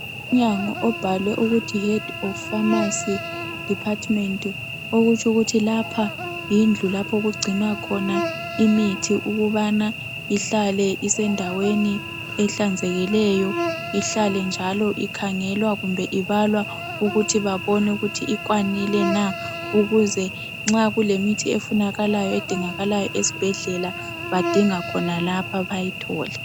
Umnyango obhalwe ukuthi HEAD OF PHARMACY DEPARTMENT. Okutshu kuthi lapha yindlu lapho okugcinwa khona imithi ukubana ihlale isendaweni ehlanzekileyo ihlale njalo ikhangelwa kumbe ibalwa ukuthi babone ukuthi ikwanile na ukuze nxa kule mithi efunakalayo edingakalayo esbhedlela badinga khonalapha bayithole .